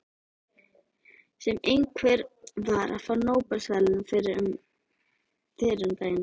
Sem einhver var að fá Nóbelsverðlaunin fyrir um daginn.